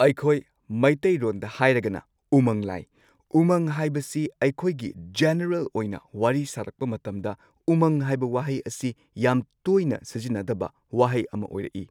ꯑꯩꯈꯣꯏ ꯃꯩꯇꯩꯔꯣꯟꯗ ꯍꯥꯏꯔꯒꯅ ꯎꯃꯪ ꯂꯥꯏ ꯎꯃꯪ ꯍꯥꯏꯕꯁꯤ ꯑꯩꯈꯣꯏꯒꯤ ꯖꯦꯅꯦꯔꯦꯜ ꯑꯣꯏꯅ ꯋꯥꯔꯤ ꯁꯥꯔꯛꯄ ꯃꯇꯝꯗ ꯎꯃꯪ ꯍꯥꯏꯕ ꯋꯥꯍꯩ ꯑꯁꯤ ꯌꯥꯝ ꯇꯣꯏꯅ ꯁꯤꯖꯤꯟꯅꯗꯕ ꯋꯥꯍꯩ ꯑꯃ ꯑꯣꯏꯔꯛꯏ꯫